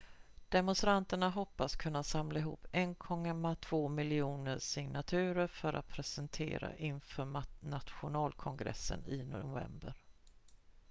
demonstranterna hoppas kunna samla ihop 1,2 miljoner signaturer för att presentera inför nationalkongressen i november